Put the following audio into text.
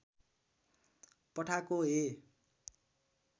पठाको हे